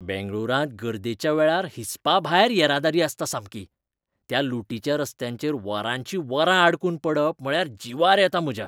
बेंगळूरांत गर्देच्या वेळार हिसपाभायर येरादारी आसता सामकी. त्या लुटीच्या रस्त्यांचेर वरांचीं वरां अडकून पडप म्हळ्यार जिवार येता म्हज्या.